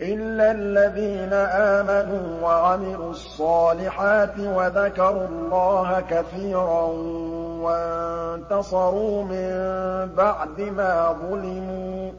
إِلَّا الَّذِينَ آمَنُوا وَعَمِلُوا الصَّالِحَاتِ وَذَكَرُوا اللَّهَ كَثِيرًا وَانتَصَرُوا مِن بَعْدِ مَا ظُلِمُوا ۗ